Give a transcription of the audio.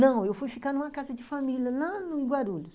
Não, eu fui ficar numa casa de família lá em Guarulhos.